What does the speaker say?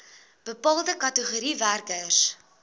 bepaalde kategorieë werkers